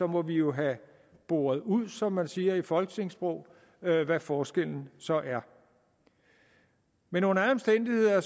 må vi jo have boret ud som man siger i folketingssproget hvad forskellen så er men under alle omstændigheder